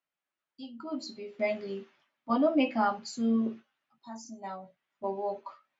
e good to be friendly but no make am too personal for work